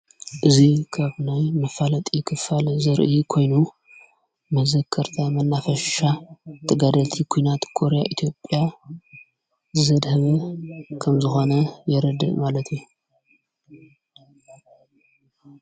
እዙይ ከብናይ መፋለጢ ኽፋል ዘርኢ ኮይኑ መዘከርታ መናፈሻ ተጋደልቲ ኲናት ኮርያ ኢትጵያ ዘድህም ከም ዝኾነ የረድ ማለት እዩ።